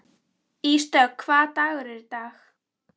Ísdögg, hvaða dagur er í dag?